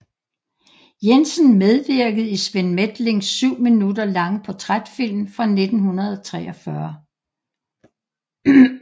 Jensen medvirkede i Svend Methlings 7 minutter lange portrætfilm fra 1943